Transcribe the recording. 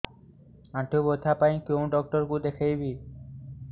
ଆଣ୍ଠୁ ବ୍ୟଥା ପାଇଁ କୋଉ ଡକ୍ଟର ଙ୍କୁ ଦେଖେଇବି